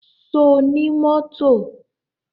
Ṣo ní mọ́tò?